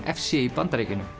f c í Bandaríkjunum